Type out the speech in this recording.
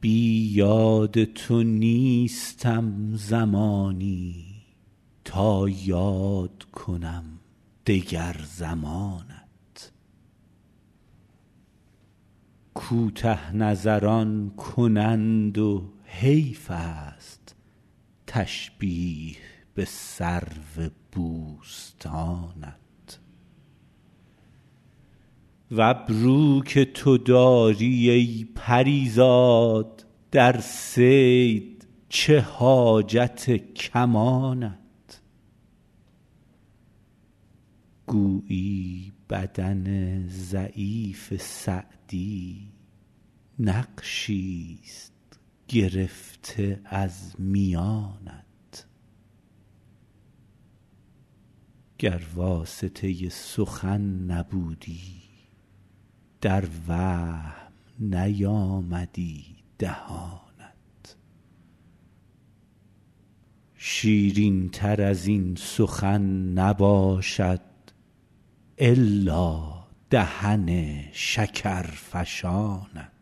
بی یاد تو نیستم زمانی تا یاد کنم دگر زمانت کوته نظران کنند و حیفست تشبیه به سرو بوستانت و ابرو که تو داری ای پری زاد در صید چه حاجت کمانت گویی بدن ضعیف سعدی نقشیست گرفته از میانت گر واسطه سخن نبودی در وهم نیامدی دهانت شیرینتر از این سخن نباشد الا دهن شکرفشانت